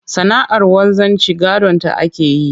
Sana'ar wanzanci gadonta ake yi